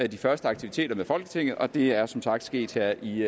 de første aktiviteter med folketinget og det er som sagt sket her i